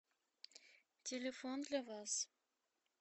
телефон для вас